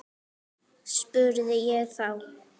spurði ég þá.